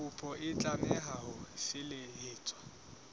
kopo e tlameha ho felehetswa